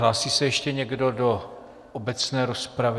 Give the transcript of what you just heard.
Hlásí se ještě někdo do obecné rozpravy?